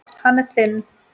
Hann er þinn.